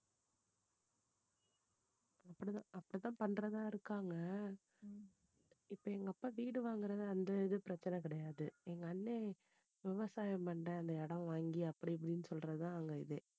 அப்படிதான் அப்படிதான் பண்றதா இருக்காங்க இப்போ எங்க அப்பா வீடு வாங்கறது அந்த இது பிரச்சனை கிடையாது எங்க அண்ணன் விவசாயம் பண்றேன்னு இடம் வாங்கி அப்படி இப்படி சொல்றது தான் அங்க இதே